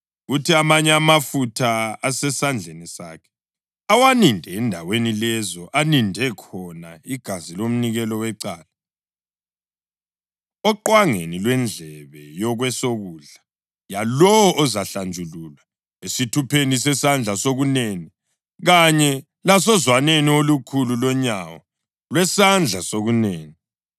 Kuthi amanye amafutha asesandleni sakhe awaninde endaweni lezo aninde khona igazi lomnikelo wecala, oqwangeni lwendlebe yokwesokudla yalowo ozahlanjululwa, esithupheni sesandla sokunene kanye lasozwaneni olukhulu lonyawo lwesandla sokunene.